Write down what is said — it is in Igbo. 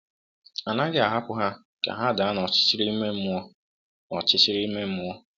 A naghị ahapụ ha ka ha daa n’ọchịchịrị ime mmụọ. n’ọchịchịrị ime mmụọ.